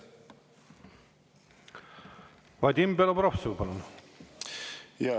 Vadim Belobrovtsev, palun!